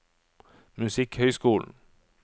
musikkhøyskolen